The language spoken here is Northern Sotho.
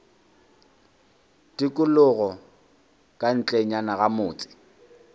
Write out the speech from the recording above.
tikologo ka ntlenyana ga motse